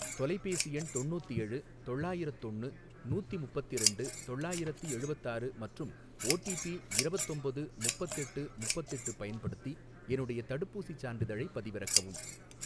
தொலைபேசி எண் தொண்ணூத்தேழு தொள்ளாயிரத்தொன்னு நூத்தி முப்பத்திரண்டு தொள்ளாயிரத்தி எழுவத்தாறு மற்றும் ஓடிபி இரவத்தொம்போது முப்பத்தெட்டு முப்பத்தெட்டு பயன்படுத்தி என்னுடைய தடுப்பூசிச் சான்றிதழைப் பதிவிறக்கவும்.